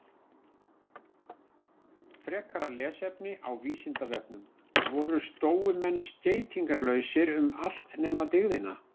Frekara lesefni á Vísindavefnum: Voru stóumenn skeytingarlausir um allt nema dygðina?